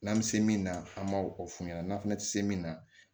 N'an bɛ se min na an m'o o f'u ɲɛna n'an fana tɛ se min na